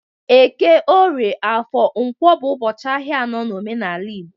Eke, Orie, Afo, Nkwo bu ubochi ahia ano na omenala Igbo